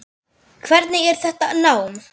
Hvernig er þetta nám?